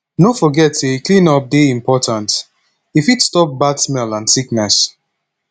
no forget say cleanup dey important e fit stop bad smell and sickness